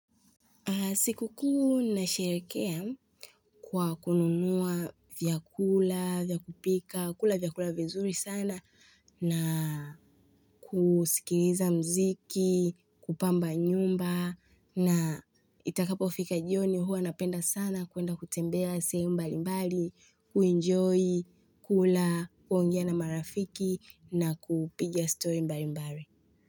Siku kuu nasherekea kwa kununua vyakula, vya kupika, kula vyakula vizuri sana na kusikiliza mziki, kupamba nyumba na itakapofika jioni huwa napenda sana kuenda kutembea sehemu mbali mbali, kuenjoy, kula, kuongea na marafiki na kupiga story mbali mbali.